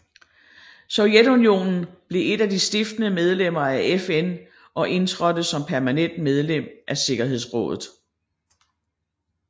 Sovjetunionen blev et af de stiftende medlemmer af FN og indtrådte som permanent medlem af sikkerhedsrådet